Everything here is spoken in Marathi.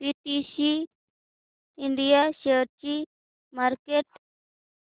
पीटीसी इंडिया शेअरची मार्केट